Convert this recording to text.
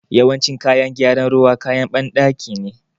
Yawancin kayan gyaran ruwa, kayan banɗaki ne.